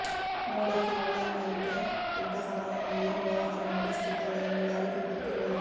ನೋಡೋಕೆ ಒಳ್ಳೆಯವಳಂತೆ ಇದ್ದ ಕಮಲಮ್ಮ ಏನು ವ್ಯವಹಾರ ನಡೆಸುತ್ತಿದ್ದಾಳೆ ಎಂದು ಯಾರಿಗೂ ಗೊತ್ತಿರಲಿಲ್ಲ